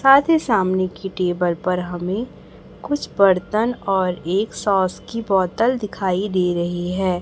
साथ ही सामने की टेबल पर हमे कुछ बर्तन और एक सॉस की बोतल दिखाई दे रही हैं।